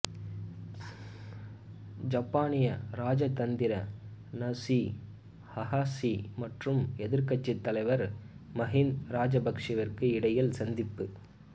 ஜப்பானிய இராஜதந்திரி நசுசி அகாஷி மற்றும் எதிர்கட்சி தலைவர் மகிந்த ராஜபக்சவிற்கும் இடையில் சந்திப்பு